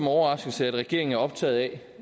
overraskelse at regeringen er optaget af